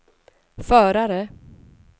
förare